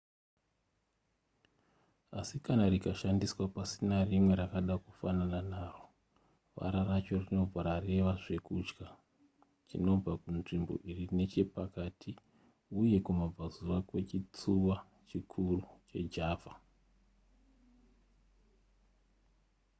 asi kana rikashandiswa pasina rimwe rakada kufanana naro vara racho rinobva rareva zvekudya chinobva kunzvimbo iri nechepakati uye kumabvazuva kwechitsuwa chikuru chejava